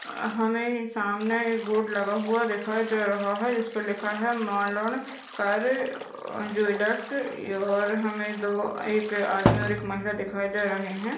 अ हमे सामने एक बोर्ड लगा हुआ दिखाई दे रहा है जिसपे लिखा है मालन कर ज्वेलर्स और हमे दो एक आदमी और महिला दिखाई दे रहे है।